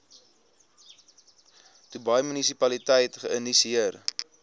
dubai munisipaliteit geïnisieer